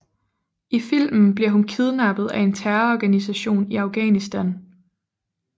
I filmen bliver hun kidnappet af en terrororganisation i Afghanistan